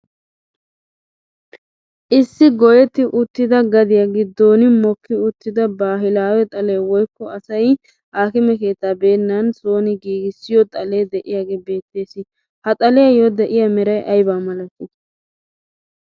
Issi goyetti uttida gadiya gidon mikki uttida bahilaawe xalee woikko asay haakime keettaa beenan sooni gigissiyo xalee de'iyaagee beettees. Ha xaliyaayaayo de'iya meray aybaa malatti?